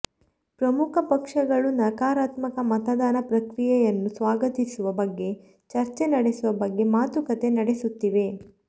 ಪ್ರಮುಖ ಪಕ್ಷಗಳು ನಕರಾತ್ಮಕ ಮತದಾನ ಪ್ರಕ್ರಿಯೆಯನ್ನು ಸ್ವಾಗತಿಸುವ ಬಗ್ಗೆ ಚರ್ಚೆ ನಡೆಸುವ ಬಗ್ಗೆ ಮಾತುಕತೆ ನಡೆಸುತ್ತಿವೆ